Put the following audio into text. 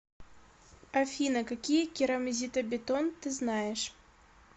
афина какие керамзитобетон ты знаешь